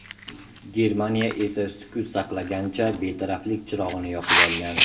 Germaniya esa sukut saqlagancha betaraflik chirog‘ini yoqib olgan.